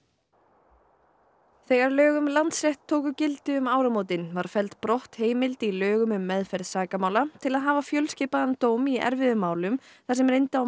þegar lög um Landsrétt tóku gildi um áramótin var felld brott heimild í lögum um meðferð sakamála til að hafa fjölskipaðan dóm í erfiðum málum þar sem reyndi á mat á trúverðugleika